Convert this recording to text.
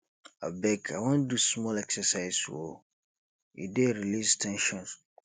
abeg i wan do small exercise um e dey release ten sion